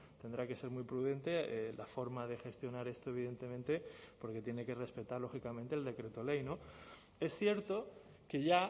tendrá que ser muy prudente la forma de gestionar esto evidentemente porque tiene que respetar lógicamente el decreto ley no es cierto que ya